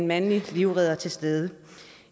mandlige livreddere til stede